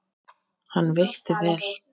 Hann veitti vel